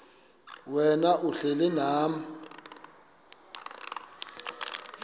wena uhlel unam